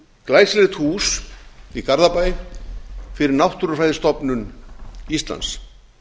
glæsilegt hús í garðabæ fyrir náttúrufræðistofnun íslands